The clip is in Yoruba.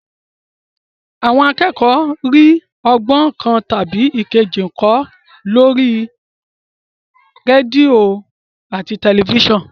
Àwọn akẹ́kọ̀ọ́ ń rí ọgbọ́n kan tàbí èkejì kọ́ lórí rédíò àti tẹ̀lifísàn